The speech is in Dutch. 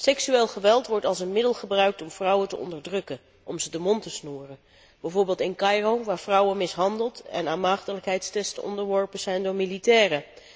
Seksueel geweld wordt als middel gebruikt om vrouwen te onderdrukken en om ze de mond te snoeren, bijvoorbeeld in Caïro waar vrouwen mishandeld en aan maagdelijkheidstests onderworpen zijn door militairen.